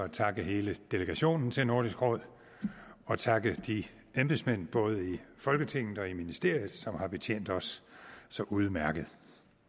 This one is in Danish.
at takke hele delegationen til nordisk råd og takke de embedsmænd både i folketinget og ministeriet som har betjent os så udmærket